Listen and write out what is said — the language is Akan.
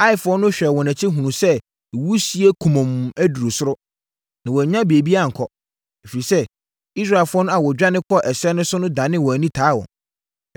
Aifoɔ no hwɛɛ wɔn akyi hunuu sɛ wisie kumɔnn aduru soro, na wɔannya baabi ankɔ, ɛfiri sɛ Israelfoɔ no a wɔdwane kɔɔ ɛserɛ so no danee wɔn ani taa wɔn.